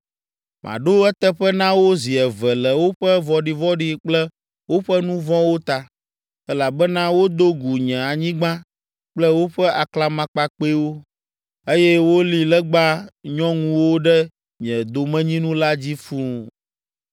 Maɖo eteƒe na wo zi eve le woƒe vɔ̃ɖivɔ̃ɖi kple woƒe nu vɔ̃wo ta, elabena wodo gu nye anyigba kple woƒe aklamakpakpɛwo, eye woli legba nyɔŋuwo ɖe nye domenyinu la dzi fũu.’ ”